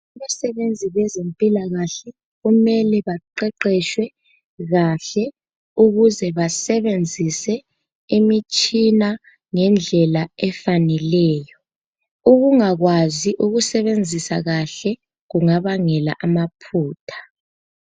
Abasebenzi beze mpilakahle kumele baqeqetshwe kahle ukuze basebenzise imitshina ngendlela efaneleyo. Ukunga kwazi ukusebenzisa kahle kungabangela amaphutha.